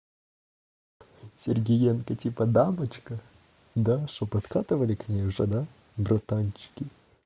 сергиенко типа дамочка да что подкатывали к ней уже да братанчики